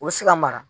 U bɛ se ka mara